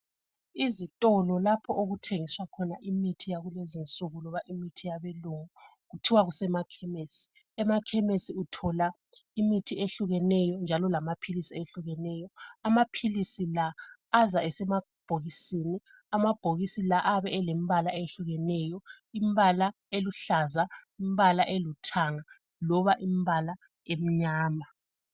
Izitolo lapho okuthengiswa khona imithi yakulezi insuku loba imithi yabelungu kuthiwa kusemakhemesi. Emakhemesi uthola imithi eyehlukeneyo njalo amaphilisi ehlukeneyo. Amaphilisi la aza esemabhokisini . Amabhokisi la ayabe elembala eyehlukeneyo imbala eluhlaza, imbala elithanga loba imbala emnyama.